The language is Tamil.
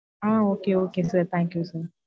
Ah okay, okay sir thank you sir.